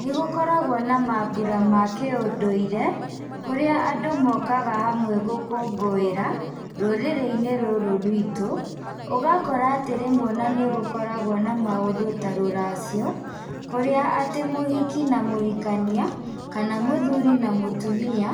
Nĩ gũkoragwo na maambura ma kĩũndũire kũrĩa andũ mokaga hamwe gũkũngũĩra rũrĩrĩ-inĩ rũrũ rwitũ. Ũgakora atĩ rĩmwe nĩ gũkoragwo na maũndũ ta rũracio, kũrĩa atĩ mũhiki na mũhikania kana mũthuri na mũtumia.